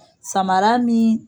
Samara nin